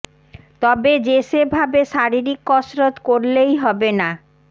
তবে যে সে ভাবে শারীরিক কসরত করলেই হবে না